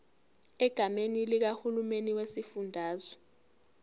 egameni likahulumeni wesifundazwe